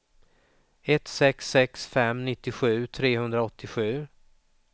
ett sex sex fem nittiosju trehundraåttiosju